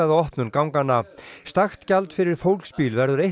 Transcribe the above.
opnun ganganna stakt gjald fyrir fólksbíl verður